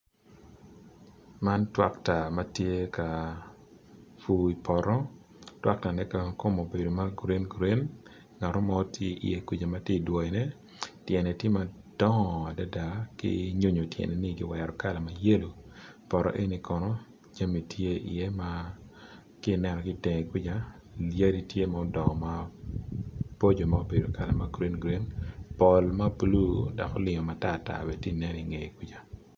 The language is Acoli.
Man tractor ma tye ka pur i poto tractor ne kono kome obedo green green ki nyonyo tyeni ki wero ma yelo ki i teng yadt tye ma bulu pol tye ma obedo tartar.